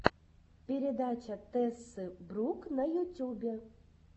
передача тессы брукс на ютюбе